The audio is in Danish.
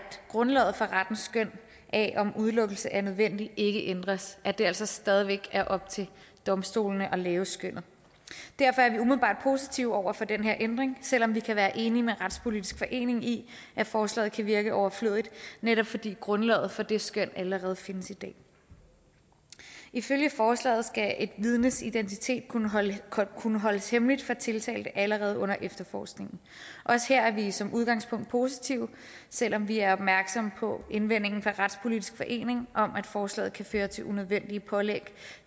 grundlaget for rettens skøn af om udelukkelse er nødvendigt ikke ændres at det altså stadig væk er op til domstolene at lave skønnet derfor er vi umiddelbart positive over for den her ændring selv om vi kan være enige med retspolitisk forening i at forslaget kan virke overflødigt netop fordi grundlaget for det skøn allerede findes i dag ifølge forslaget skal et vidnes identitet kunne holdes kunne holdes hemmelig for tiltalte allerede under efterforskningen også her er vi som udgangspunkt positive selv om vi er opmærksomme på indvendingen fra retspolitisk forening om at forslaget kan føre til unødvendige pålæg